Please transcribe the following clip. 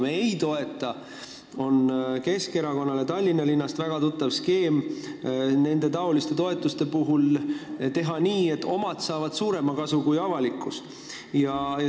Mida me ei toeta, see on Keskerakonnale Tallinna linnast väga tuttav skeem teha nende toetuste puhul nii, et omad saavad suuremat kasu kui avalikkus.